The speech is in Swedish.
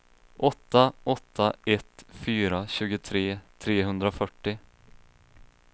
åtta åtta ett fyra tjugotre trehundrafyrtio